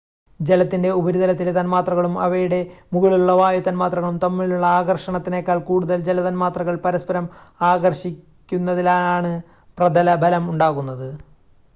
ജലത്തിൻ്റെ ഉപരിതലത്തിലെ തന്മാത്രകളും അവയുടെ മുകളിലുള്ള വായു തന്മാത്രകളും തമ്മിലുള്ള ആകർഷണത്തെക്കാൾ കൂടുതൽ ജല തന്മാത്രകൾ പരസ്പരം ആകർഷിക്കുന്നതിനാലാണ് പ്രതലബലം ഉണ്ടാകുന്നത്